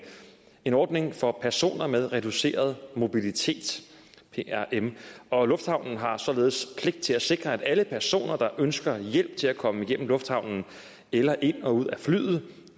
en ordning for personer med reduceret mobilitet og lufthavnen har således pligt til at sikre at alle personer der ønsker hjælp til at komme igennem lufthavnen eller ind og ud af flyet